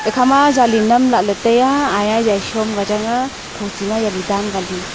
ekhama jali nam lahley taiya aya jali shom ka changa thochi ma jali dan ka li.